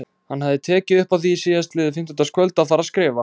Hann hafði tekið upp á því síðastliðið fimmtudagskvöld að fara að skrifa.